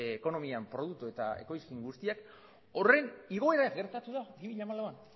ekonomian produktu eta ekoizpen guztiak horren igoera gertatu da bi mila hamalauan